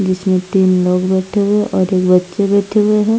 जिसमें तीन लोग बैठे हुए और एक बच्चे बैठे हुए हैं।